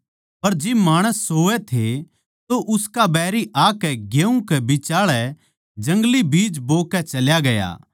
पर जिब माणस सोवै थे तो उसका बैरी आकै गेहूँ कै बिचाळै जंगली बीज बोकै चल्या गया